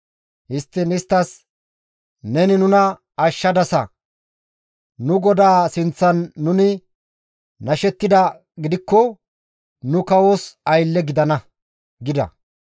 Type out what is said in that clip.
Histtiin istti, «Neni nuna ashshadasa! Nu godaa sinththan nuni nashettidaa gidikko nu kawos aylle gidana» gida.